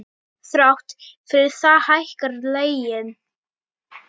Þrátt fyrir það hækkar leigan.